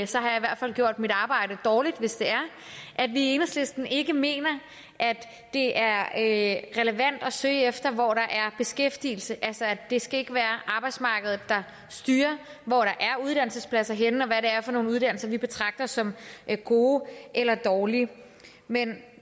så har jeg i hvert fald gjort mit arbejde dårligt at vi i enhedslisten ikke mener at det er relevant at søge efter hvor der er beskæftigelse altså at det skal være arbejdsmarkedet der styrer hvor der er uddannelsespladser henne og hvad det er for nogle uddannelser vi betragter som gode eller dårlige men